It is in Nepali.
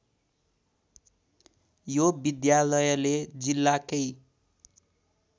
यो विद्यालयले जिल्लाकै